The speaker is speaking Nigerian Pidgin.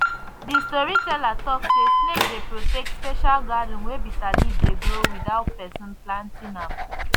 the storyteller talk say snake dey protect special garden wey bitterleaf dey grow without person planting am